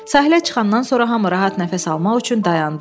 Sahilə çıxandan sonra hamı rahat nəfəs almaq üçün dayandı.